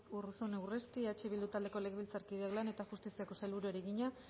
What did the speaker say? urruzuno urresti eh bildu taldeko legebiltzarkideak lan eta justiziako sailburuari egina